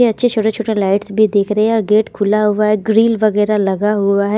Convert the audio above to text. अच्छे छोटे-छोटे लाइट्स भी दिख रहे हैं और गेट खुला हुआ है ग्रिल वगैरह लगा हुआ है।